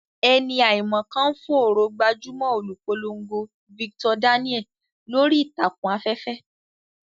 Ẹni àìmọ̀ kan ń fòòró gbajúmọ̀ olùpolongo Victor Daniel lórí ìtàkùn afẹ́fẹ́.